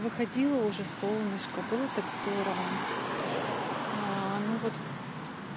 выходило уже солнышко было так здорово ну вот